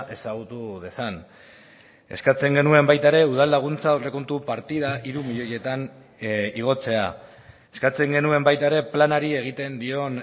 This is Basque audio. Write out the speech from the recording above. ezagutu dezan eskatzen genuen baita ere udalaguntza aurrekontu partida hiru milioietan igotzea eskatzen genuen baita ere planari egiten dion